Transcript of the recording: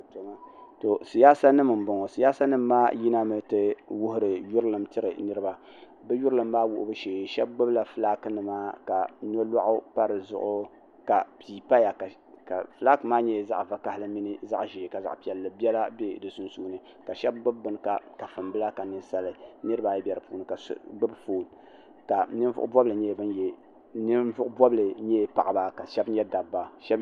Tɔɔ siyaasa nima n bɔŋɔ siyaasa nima maa yimina n ti wuhiri yieilim tiri niriba bi yurilim maa wuhibu shɛɛ shɛba gbubi la flaki nima ka nolɔɣu pa di zuɣu pee paya ka flaki maa nyɛla zaɣi vakahali mini zaɣi ʒɛɛ ka zaɣi piɛli bɛla bɛ si sunsuni ka shɛba gbubi bini kafuni bila ka ka nieiba ayi bɛ si puuni ka so gbubi foon ninvuɣi bɔbili nyɛla paɣaba ka ahɛba nyɛ dabba.